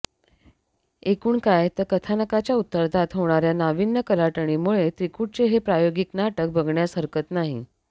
एकूण काय तर कथानकाच्या उत्तरार्धात होणार्या नावीन्य कलाटणीमुळे त्रिकुटचे हे प्रायोगिक नाटक बघण्यास हरकत नाही